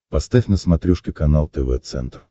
поставь на смотрешке канал тв центр